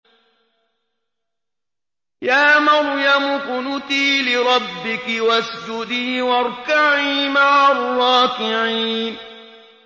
يَا مَرْيَمُ اقْنُتِي لِرَبِّكِ وَاسْجُدِي وَارْكَعِي مَعَ الرَّاكِعِينَ